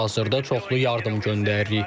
Hazırda çoxlu yardım göndəririk.